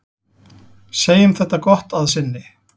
Segjum þetta gott að sinni.